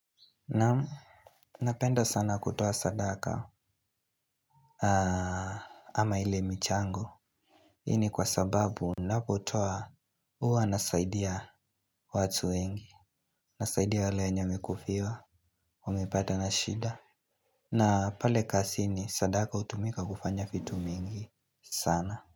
Naam. Napenda sana kutoa sadaka. Ama ile michango hii ni kwa sababu napotoa uwa nasaidia watu wengi. Nasaidia wale wenye wamekufiwa. Wamepata na shida. Na pale kazini sadaka utumika kufanya vitu mingi sana.